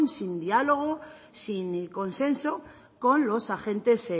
sin diálogo sin consenso con los agentes